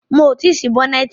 Mo ti ṣí bọ́nẹ̀tì.